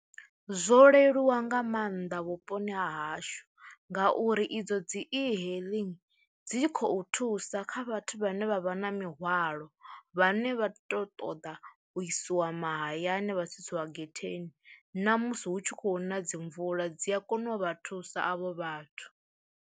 Zwo leluwa nga maanḓa vhuponi ha hashu ngauri idzo dzi e-hailing dzi khou thusa kha vhathu vhane vha vha na mihwalo vhane vha to ṱoḓa u isiwa mahayani vha tsitsiwa getheni na musi hu tshi khou na dzi mvula dzi a kona u vha thusa avho vhathu.